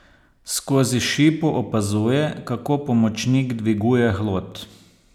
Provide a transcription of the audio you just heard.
Skozi šipo opazuje, kako pomočnik dviguje hlod.